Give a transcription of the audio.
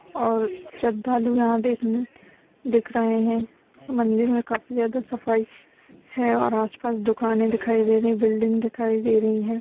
और श्रध्हालू यहाँ देखने दिखरहें है मंदिर में काफी ज्यादा सफाई है और आसपास दुखाने दिखाई दे रही है बिलडिंग दिखाई दे रही है।